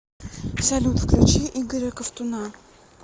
салют включи игоря ковтуна